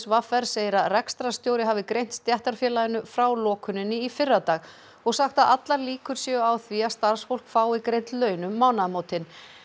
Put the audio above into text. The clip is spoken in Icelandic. v r segir að rekstrarstjóri hafi greint stéttarfélaginu frá lokuninni í fyrradag og sagt að allar líkur séu á því að starfsfólk fái greidd laun um mánaðamótin